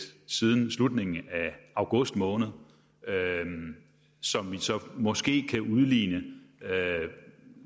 siden slutningen af august måned som vi så måske kan udligne